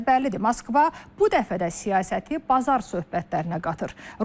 Moskva bu dəfə də siyasəti bazar söhbətlərinə qatır.